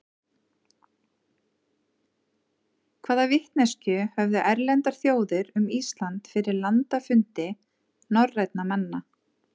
hvaða vitneskju höfðu erlendar þjóðir um ísland fyrir landafundi norrænna manna